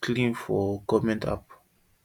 clean from government app